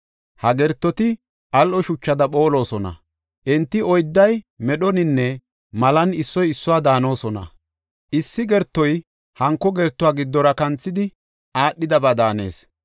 Ha gertoti al7o shuchada phoolosona; enti oydday medhoninne malan issoy issuwa daanosona. Issi gertoy hanko gertuwa giddora kanthidi aadhidaba daanees.